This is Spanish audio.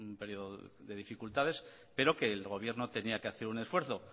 periodo de dificultades pero que el gobierno tenía que hacer un esfuerzo